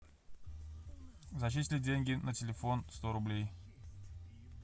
зачислить деньги на телефон сто рублей